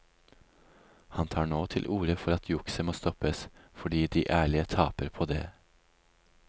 Han tar nå til orde for at jukset må stoppes, fordi de ærlige taper på det.